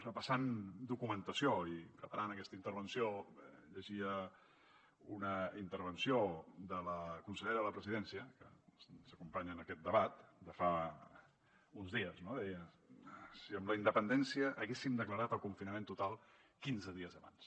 repassant documentació i preparant aquesta intervenció llegia una intervenció de la consellera de la presidència que ens acompanya en aquest debat de fa uns dies deia si amb la independència haguéssim declarat el confinament total quinze dies abans